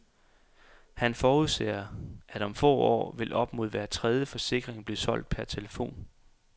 Han forudser, at om få år vil op mod hver tredje forsikring blive solgt per telefon.